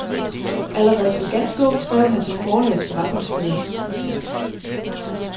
Allerede som ganske ung skrev han til sit forlags forretningsfører.